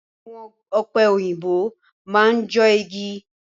Awọn ọ̀pẹ òyìnbó máa n jọ igi.